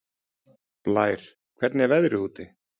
Blær, hvernig er veðrið úti?